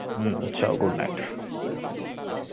হম চল good night